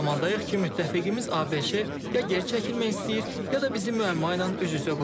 Elə bir zamandayıq ki, müttəfiqimiz ABŞ ya geri çəkilmək istəyir, ya da bizi müəmmayla üz-üzə qoyur.